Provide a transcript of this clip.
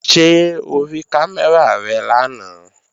Ṣé o rí kámẹ́rà rẹ lánàá?